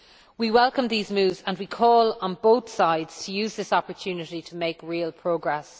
We welcome these moves, and we call on both sides to use this opportunity to make real progress.